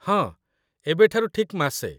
ହଁ, ଏବେ ଠାରୁ ଠିକ୍ ମାସେ